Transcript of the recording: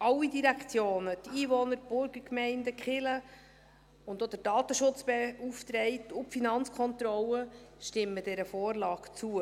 Alle Direktionen, die Einwohner, die Burgergemeinden, die Kirchen und auch der Datenschutzbeauftragte und die Finanzkontrolle stimmen dieser Vorlage zu.